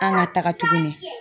An ka taga tuguni.